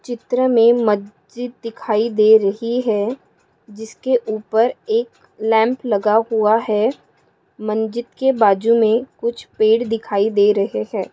चित्र मे मस्जिद दिखाई दे रही है जिसके उपर एक लैम्प लगा हुआ है मंजीत के बाजुमे कुच्छ पेड़ दिखाई दे रहे है।